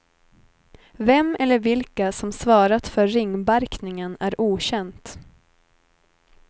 Vem eller vilka som svarat för ringbarkningen är okänt.